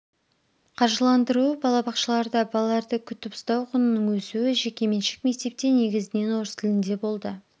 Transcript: қаржыландыруы балабақшаларда балаларды күтіп-ұстау құнының өсуі жекеменшік мектепте негізінен орыс тілінде болды